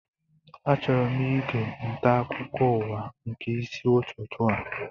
Achọrọ ige nta akụkọ ụwa nke isi ụtụtụ a